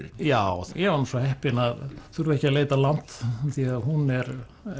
já ég var svo heppinn að þurfa ekki að leita langt því að hún er